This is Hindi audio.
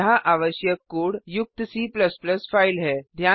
यहाँ आवश्यक कोड युक्त C फाइल है